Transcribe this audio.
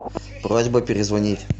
просьба перезвонить